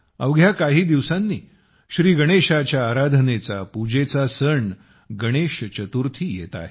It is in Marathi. अवघ्या काही दिवसांनी श्रीगणेशाच्या पूजेचा सण गणेश चतुर्थी येत आहे